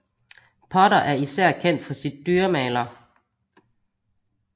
Potter er især kendt for sit dyremaler